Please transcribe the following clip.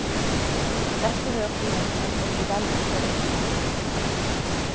Dette hørte hun, og hun hørte vel etter også.